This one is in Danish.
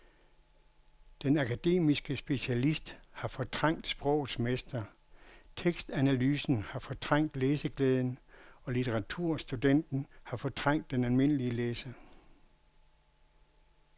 Den akademiske specialist har fortrængt sprogets mester, tekstanalysen har fortrængt læseglæden og litteraturstudenten har fortrængt den almindelige læser.